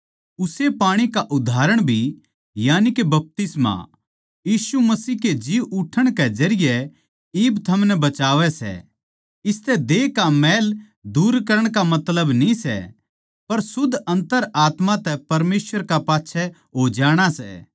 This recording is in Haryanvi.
उस्से पाणी का उदाहरण भी यानिके बपतिस्मा यीशु मसीह कै जी उठण कै जरिये इब थमनै बचावै सै इसतै देह का मैल नै दूर करण का मतलब न्ही सै पर शुद्ध अन्तरात्मा तै परमेसवर कै पाच्छै हो जाणा सै